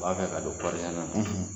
U b'a fɛ ka don na